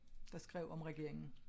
Der skrev om regeringen